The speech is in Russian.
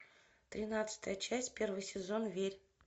тринадцатая часть первый сезон верь